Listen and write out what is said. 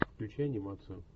включи анимацию